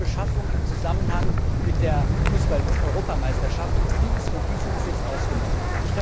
Alle Beschaffungen im Zusammenhang mit der Fußball Europameisterschaft sind von diesem Gesetz ausgenommen.